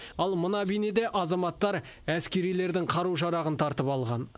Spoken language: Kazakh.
ал мына бейнеде азаматтар әскерилердің қару жарағын тартып алған